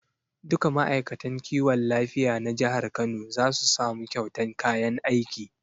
Duka ma'aikatan kiwon lafiya na jihar kano za su samu kyautan kayan aiki